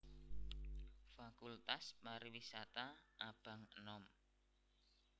Fakultas Pariwisata abang enom